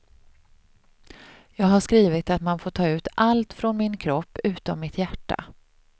Jag har skrivit att man får ta allt från min kropp utom mitt hjärta.